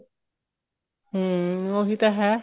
ਹਮ ਉਹੀ ਤਾਂ ਹੈ